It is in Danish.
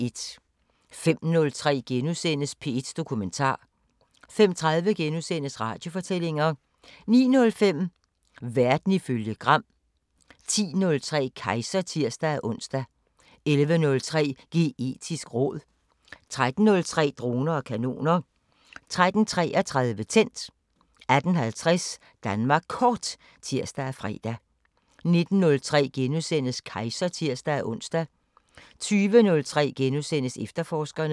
05:03: P1 Dokumentar * 05:30: Radiofortællinger * 09:05: Verden ifølge Gram 10:03: Kejser (tir-ons) 11:03: Geetisk råd 13:03: Droner og kanoner 13:33: Tændt 18:50: Danmark Kort (tir og fre) 19:03: Kejser *(tir-ons) 20:03: Efterforskerne *